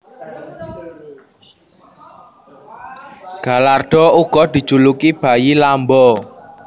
Gallardo uga dijuluki bayi Lambo